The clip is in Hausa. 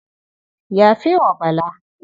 Yafe wa Bala.